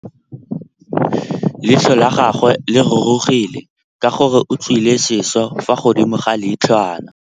Leitlhô la gagwe le rurugile ka gore o tswile sisô fa godimo ga leitlhwana.